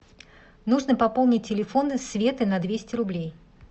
нужно пополнить телефон светы на двести рублей